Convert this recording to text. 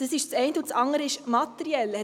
Dies ist das eine.